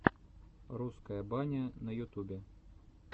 русская баня на ютубе